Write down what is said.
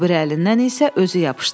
O biri əlindən isə özü yapışdı.